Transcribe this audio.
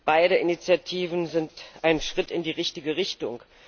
Beide Initiativen sind ein Schritt in die richtige Richtung.